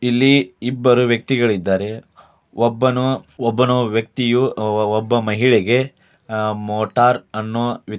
ಇಲ್ಲಿ ಇಬ್ಬರು ವ್ಯಕ್ತಿಗಲಿದ್ದಾರೆ ಒಬ್ಬನು ವ್ಯಕ್ತಿಯು ಒಬ್ಬ ಮಹಿಳೆಗೆ ಮೋಟರ್ ಅನ್ನು